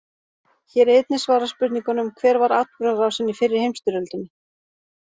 Hér er einnig svarað spurningunum: Hver var atburðarásin í fyrri heimsstyrjöldinni?